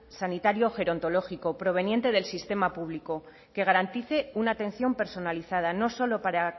sanitario gerontológico proveniente del sistema público que garantice una atención personalizada no solo para